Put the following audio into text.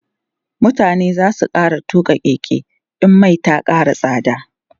mutane zasu fara tuƙa Keke in Mai Ta Kara tsada